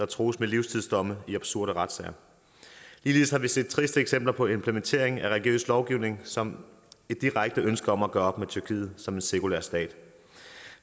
trues med livstidsdomme i absurde retssager ligeledes har vi set triste eksempler på implementering af religiøs lovgivning som et direkte ønske om at gøre op med tyrkiet som en sekulær stat